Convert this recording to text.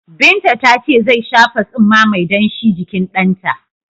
Binta ta ce zai shafa tsumma mai danshi jikin ɗanta.